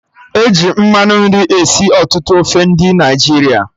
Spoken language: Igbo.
E ji mmanụ nri esi ọtụtụ ofe ndị Naịjirịa